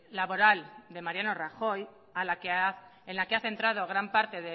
laboral de mariano rajoy en la que ha centrado gran parte